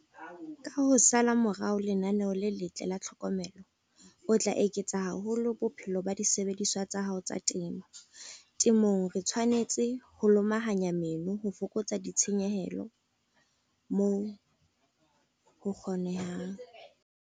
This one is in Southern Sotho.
Ka ho sala morao lenaneo le letle la tlhokomelo o tla eketsa haholo bophelo ba disebediswa tsa hao tsa temo. Temong re tshwanetse ho lomahanya meno ho fokotsa ditshenyehelo moo ho kgonahalang.